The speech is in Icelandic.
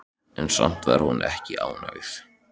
En samt var hún ekki ánægð.